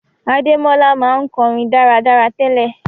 Adémọ́lá ma n korin dáradára tele